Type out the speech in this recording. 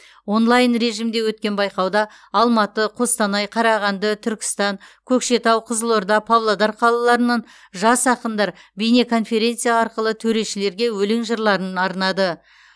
онлайн режимде өткен байқауда алматы қостанай қарағанды түркістан көкшетау қызылорда павлодар қалаларынан жас ақындар бейнеконференция арқылы төрешілерге өлең жырларын арнады